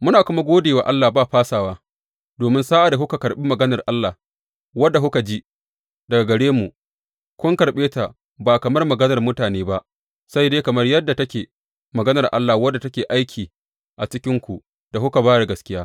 Muna kuma gode wa Allah ba fasawa domin, sa’ad da kuka karɓi maganar Allah, wadda kuka ji daga gare mu, kun karɓe ta ba kamar maganar mutane ba, sai dai kamar yadda take, maganar Allah wadda take aiki a cikinku ku da kuka ba da gaskiya.